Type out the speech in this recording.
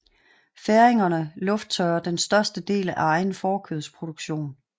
Færingerne lufttørrer den største del af egen fårekødsproduktion